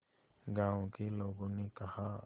गांव के लोगों ने कहा